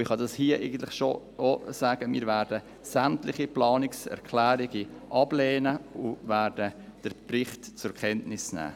Ich kann es schon hier sagen: Wir werden sämtliche Planungserklärungen ablehnen und den Bericht zur Kenntnis nehmen.